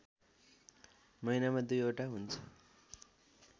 महिनामा दुईवटा हुन्छ